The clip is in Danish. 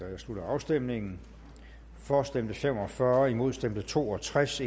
her slutter afstemningen for stemte fem og fyrre imod stemte to og tres